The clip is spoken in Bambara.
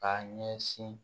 K'a ɲɛsin